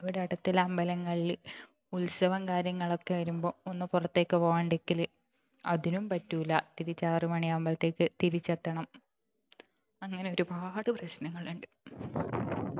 ഇവിടെ അടുത്തുള്ള അമ്പലങ്ങളിൽ ഉത്സവം കാര്യങ്ങൾ ഒക്കെ വരുമ്പോ ഒന്ന് പുറത്തേക്ക് പോകാണ്ടിക്കല് അതിനും പറ്റൂല്ല തിരിച്ച് ആറ് മണിയാകുമ്പൾത്തേക്ക് തിരിച്ചെത്തണം അങ്ങനെ ഒരുപാട് പ്രശ്നങ്ങളുണ്ട്